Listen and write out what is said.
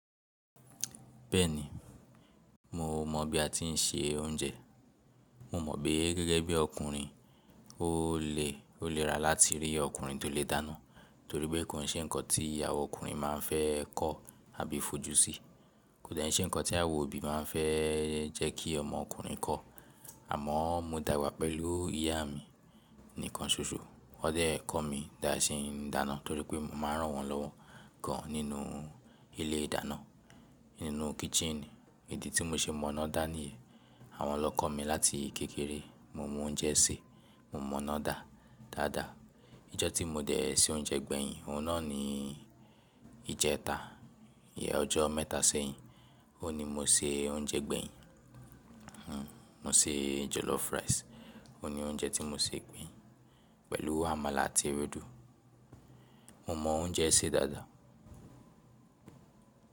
Bẹ́ẹ̀ni, mo mọ̀ bí a ti ń se oúnjẹ. Mo mọ̀ pé gẹ́gẹ́ bí ọkùnrin ó lè, ó lè ra láti rí ọkùnrin tó lè dáná torí pé kò ṣe nǹkan tí awa ọkùnrin máa fẹ́ kọ́ àbí fojú sí. Kò dẹ̀ ṣe nǹkan tí àwa òbí máa fẹ́ jẹ́ kí ọmọ ọkùnrin kọ́. Àmọ́ mo dàgbà pẹ̀lú ìyá mi nìkan ṣoṣọ. Wọ́n dẹ̀ kọ́ mi bí a ṣe ń dáná torí pé mo máa ń rán wọn lọ́wọ́ gan nínú ilé ìdáná, nínú kitchen. Ìdí tí mo ṣe mọ̀ná dá ni yìí. Àwọn lọ kọ́ mi láti kékeré. Mo mọ oúnjẹ sè, mo mọ̀ná dá dáadáa. Ijọ́ tí mo dẹ̀ se oúnjẹ gbẹ̀yìn, òun náà ni ìjẹta. Íyẹn ọjọ́ mẹ́ta sẹ́yìn. Ó ní mo se oúnjẹ gbẹ̀yìn. Mo se jollof rice. Ó ni oúnjẹ tí mo sè gbẹ̀yìn pẹ̀lú àmàlà àti ewédú. Mo mọ oúnjẹ sè dáadáa.